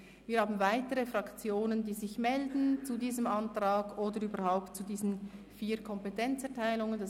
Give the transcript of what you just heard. Wir haben weitere Fraktionen, die sich zu diesem Antrag oder überhaupt zu diesen vier Kompetenzerteilungen melden.